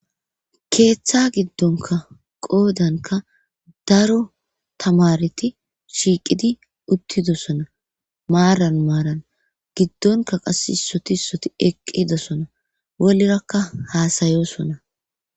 keeththa gidonkka qoodankka daro tamareti shiiqidi uttidosonna maaran maran giddonkka qassi issoti isssoti eqqidosona wolirakka haasayosona.